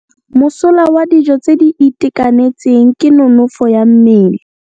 Mosola wa dijô tse di itekanetseng ke nonôfô ya mmele.